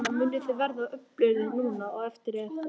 Linda: Munið þið verða öflugri núna á eftir, eftir þetta?